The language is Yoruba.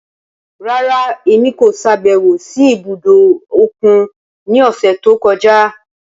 Rara, Emi ko ṣabẹwo si ibudo okun ni ọsẹ to kọja.